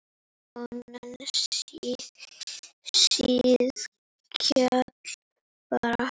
Konan síðkjól bar.